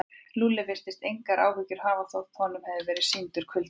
Lúlli virtist engar áhyggjur hafa þótt honum hefði verið sýndur kuldi.